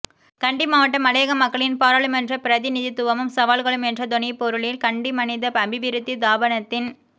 கண்டி மாவட்ட மலையக மக்களின் பாராளுமன்ற பிரதிநிதித்துவமும் சவால்களும் என்ற தொனிபொருளில் கண்டி மனித அபிவிருத்தி தாபனத்தின்